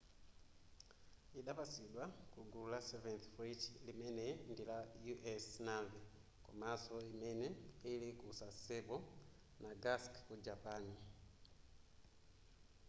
idapatsidwa kugulu la seventh fleet limene ndila u.s. navy komanso imene ili ku sasebo nagasaki ku japan